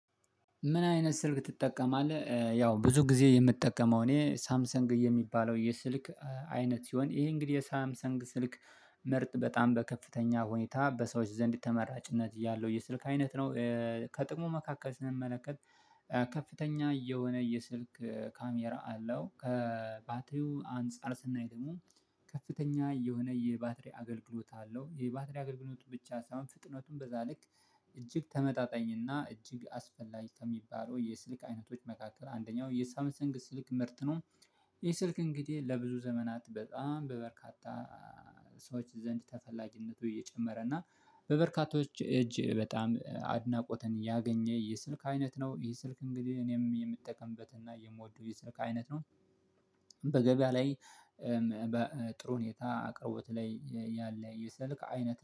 ምን አይነት ስልክ ትጠቀማለህ? ያው ብዙ ጊዜ የምትጠቀመው እኔ ሳምሰንግ የሚባለው የስልክ አይነት ሲሆን ይሄ እንግዲህ የሳምሰንግ ስልክ ምርጥ በጣም በከፍተኛ ሁኔታ በሰዎች ዘንድ ተመራጭነት ያለሁ የስልክ አይነት ነው። ከጥሞ መካከል ስንመለከት ከፍተኛ የሆነ የስልክ ካሜራ አለው ከባትሪው አንፃር ስናይ ደግሞ ከፍተኛ የሆነ የባትሪ አገልግሎት አለው። ይሄ ባትሪ አገልግሎት ብቻ ሳይሆን ፍጥነቱን በዛ ልክ እጅግ ተመጣጣኝና እጅግ አስፈላጊ ከሚባለው የስልክ አይነቶች መካከል አንደኛው የሳምሰንግ ስልክ ምርት ነው። ይህ ስልክ እንግዲህ ለብዙ ዘመናት በጣም በበርካታ ሰዎች ዘንድ ተፈላጊነቱ እየጨመረ እና በበርካታዎች እጅ በጣም አድናቆትን ያገኘ የስልክ አይነት ነው። ይሄ ስልክ እንግዲህ እኔም የምጠቀምበትና የምወደው የስልክ አይነት ነው። በገበያ ላይ በጥሩ ሁኔታ አቅርቦት ላይ ያለ የሰልክ አይነት